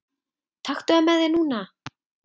Taktu það með þér núna!